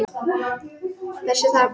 Þessa þarna!